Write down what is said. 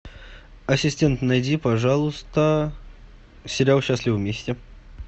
ассистент найди пожалуйста сериал счастливы вместе